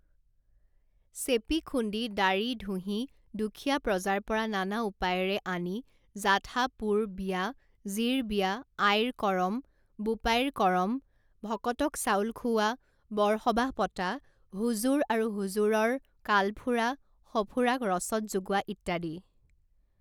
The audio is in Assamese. চেপি খুন্দি দাঁড়িঢুঁহি দুখীয়া প্ৰজাৰ পৰা নানা উপায়েৰে আনি যাথা পোৰ বিয়া, জীৰ বিয়া, আইৰ কৰম, বোপাইৰ কৰম, ভকতক চাউল খুউৱা, বৰ সবাহ পতা, হুজুৰ আৰু হুজুৰৰ কালফুৰা সফুৰাক ৰচদ যোগোৱা ইত্যাদি।